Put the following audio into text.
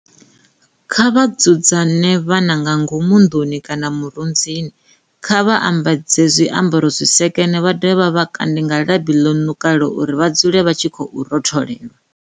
Kha vha dzudze vhana nga ngomu nḓuni kana murunzini, kha vha vha ambadze zwiambaro zwi sekene vha dovhe vha vha kande nga labi ḽo ṋukalaho uri vha dzule vha tshi khou rotholelwa.